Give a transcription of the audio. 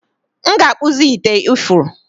m ga-akpụzi ite ifuru